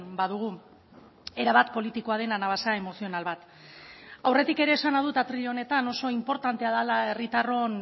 badugu erabat politikoa dena anabasa emozional bat aurretik ere esana dut atril honetan oso inportantea dela herritarron